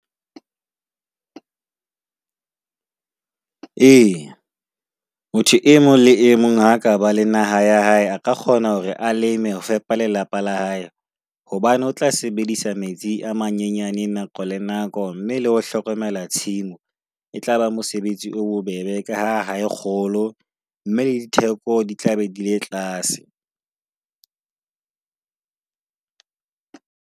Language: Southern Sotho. Ee, motho e mong le e mong aka ba la naha ya hae, a ka kgona hore a le eme ho fepa lelapa la hae. Hobane o tla sebedisa metsi a mang nyenyane nako le nako mme le ho hlokomela tshimo. E tlaba mosebetsi o bobebe ka ha ha e kgolo mme le ditheko di tla be di le tlase.